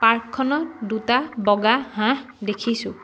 Park খনত দুটা বগা হাঁহ দেখিছোঁ।